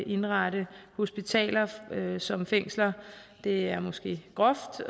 indrette hospitaler som fængsler det er måske groft